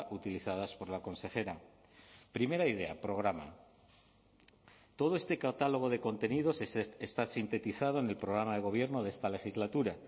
utilizadas por la consejera primera idea programa todo este catálogo de contenidos está sintetizado en el programa de gobierno de esta legislatura